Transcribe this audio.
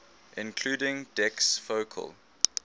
including dec's focal